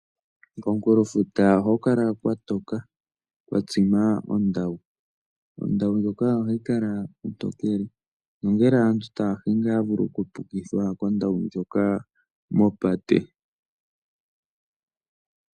Komunkulofuta ohaku kala kwa toka, kwa tsima ondawu. Ondawu ndjoka ohayi kala ontokele nongele aantu taya hingi ohaya vulu okupukithwa kondawu ndjoka mopate.